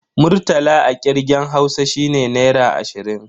Murtala a kirgen Hausa shine Naira ashirin.